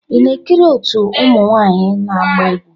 Ị na-ekiri otu ụmụ nwanyị na-agba egwu.